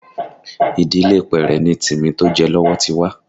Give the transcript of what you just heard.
Ìdílé Pẹ́rẹ́ ni Timi tó jẹ lọ́wọ́ ti wá